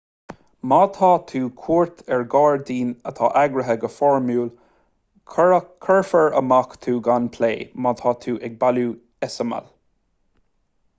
má tá tú cuairt ar ghairdín atá eagraithe go foirmiúil cuirfear amach tú gan plé má tá tú ag bailiú eiseamail